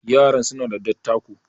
yaran suna da dattako